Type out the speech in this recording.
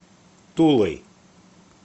тулой